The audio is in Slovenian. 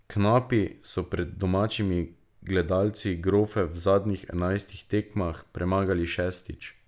Knapi so pred domačimi gledalci grofe v zadnjih enajstih tekmah premagali šestič.